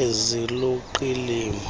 eziluqilima